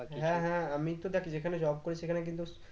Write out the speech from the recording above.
হ্যাঁ হ্যাঁ আমি তো দেখ যেখানে job করি সেখানে কিন্তু